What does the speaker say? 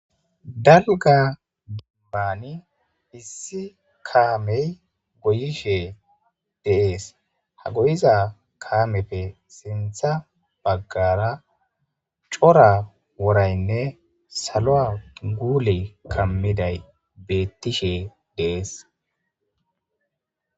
Dalga dambani issi kaamey goyishe deees ha goyiza kaameppe sintha baggara cora woraynne saloa guule kammiday bettishe dees